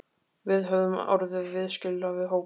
Við höfðum orðið viðskila við hóp